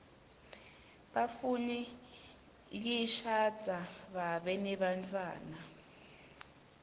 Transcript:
bafuna kishadza biabe nebantfuana